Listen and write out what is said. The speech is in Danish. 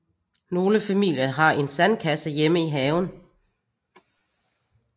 Nogle familier har en sandkasse hjemme i haven